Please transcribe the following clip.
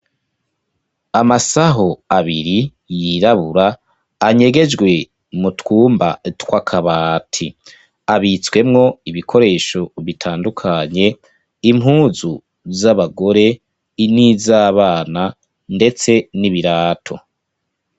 Amasaho abiri yirabura anyegejwe mu twumba twakabati, abitswemwo ibikoresho bitandukanye, impuzu zabagore, n'izabana ndetse n'ibirato.